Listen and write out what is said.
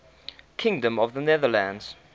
kingdom of the netherlands